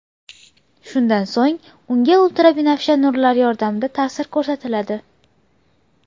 Shundan so‘ng unga ultrabinafsha nurlar yordamida ta’sir ko‘rsatiladi.